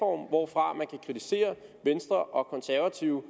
hvorfra man kan kritisere venstre og konservative